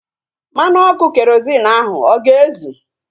Mmanụ ọkụ kerozịn ahu ọ ga-ezu?